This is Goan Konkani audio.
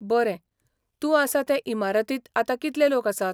बरें, तूं आसा ते इमारतींत आता कितले लोक आसात?